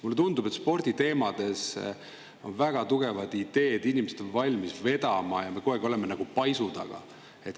Mulle tundub, et sporditeemadel on väga tugevaid ideid, inimesed on valmis eest vedama, aga me kogu aeg oleme nagu paisu taga.